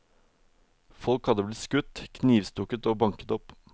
Folk hadde blitt skutt, knivstukket og banket opp.